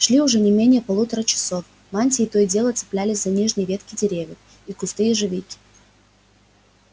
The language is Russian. шли уже не менее полутора часов мантии то и дело цеплялись за нижние ветки деревьев и кусты ежевики